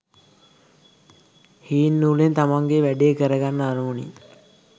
හීන් නූලෙන් තමන්ගේ වැඩේ කරගන්න අරමුණින්